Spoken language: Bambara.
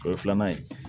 O ye filanan ye